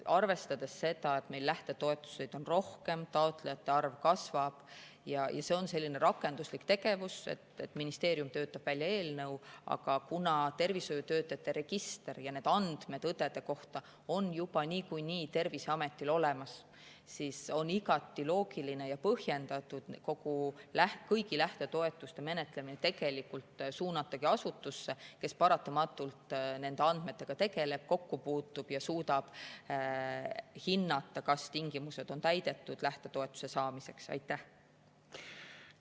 Arvestades seda, et lähtetoetusi on rohkem, taotlejate arv kasvab ja see on selline rakenduslik tegevus – ministeerium töötab välja eelnõu, aga tervishoiutöötajate register ja need andmed õdede kohta on Terviseametil juba niikuinii olemas –, siis on igati loogiline ja põhjendatud suunatagi kõigi lähtetoetuste menetlemine asutusse, kes paratamatult nende andmetega tegeleb ja nendega kokku puutub ning suudab hinnata, kas lähtetoetuse saamise tingimused on täidetud.